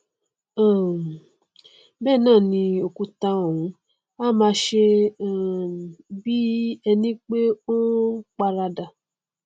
um bẹẹ náà ni òkúta ọhún á máa ṣe um bí ẹni pé ó n paradà